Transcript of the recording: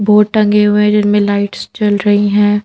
Board टंगे हुए हैं जिन में लाइट्स चल रही है।